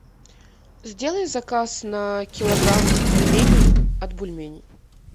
сделай заказ на килограмм пельменей от бульменей